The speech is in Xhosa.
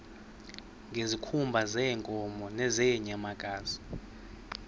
ngezikhumba zeenkomo nezeenyamakazi